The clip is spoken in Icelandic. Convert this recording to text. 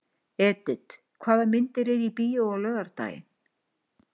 Edith, hvaða myndir eru í bíó á laugardaginn?